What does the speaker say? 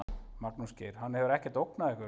Magnús Geir: Hann hefur ekkert ógnað ykkur?